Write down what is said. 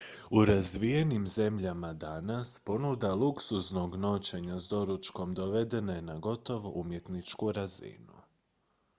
u razvijenim zemljama danas ponuda luksuznog noćenja s doručkom dovedena je na gotovo umjetničku razinu